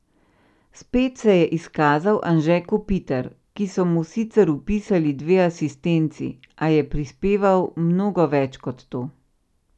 Spet se je izkazal Anže Kopitar, ki so mu sicer vpisali dve asistenci, a je prispeval mnogo več kot to.